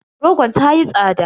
Rogon ta yi tsada.